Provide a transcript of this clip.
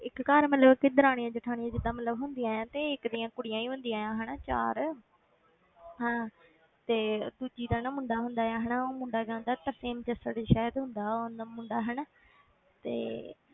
ਇੱਕ ਘਰ ਮਤਲਬ ਕਿ ਦਰਾਣੀਆਂ ਜੇਠਾਣੀਆਂ ਜਿੱਦਾਂ ਮਤਲਬ ਹੁੰਦੀਆਂ ਆਂ ਤੇ ਇੱਕ ਦੀਆਂ ਕੁੜੀਆਂ ਹੀ ਹੁੰਦੀਆਂ ਆਂ ਹਨਾ ਚਾਰ ਹਾਂ ਤੇ ਦੂਜੀ ਦਾ ਨਾ ਮੁੰਡਾ ਹੁੰਦਾ ਹੈ ਹਨਾ, ਉਹ ਮੁੰਡਾ ਕਹਿੰਦਾ ਤਰਸੇਮ ਜੱਸੜ ਸ਼ਾਇਦ ਹੁੰਦਾ ਉਹ ਨ~ ਮੁੰਡਾ ਹਨਾ ਤੇ